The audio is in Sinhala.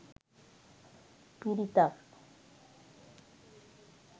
පිරිතක්